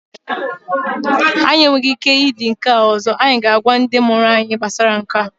Anyị enweghị ike idi nke a ọzọ, anyị ga-agwa ndị mụrụ anyị gbasara Nke a